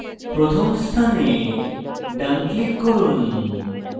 প্রথম স্থানে ডান click করুন